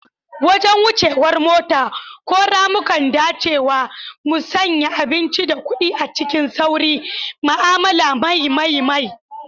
Wajen wuce war mota, ko ramukan dacewa, musanya abinci da kuɗi cikin sauri, ma'amala mai mai mai.